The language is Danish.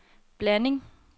blanding